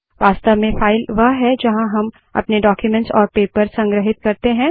वास्तव में फाइल वह है जहाँ हम अपने डाक्यूमेंट्स और पेपर्स संग्रहित करते हैं